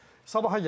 Sabaha gəlincə.